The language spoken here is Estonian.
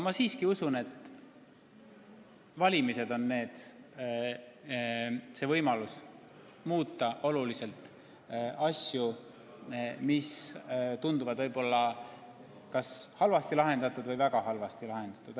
Ma siiski usun, et valimised on parim võimalus muuta oluliselt asju, mis tunduvad olevat halvasti lahendatud või väga halvasti lahendatud.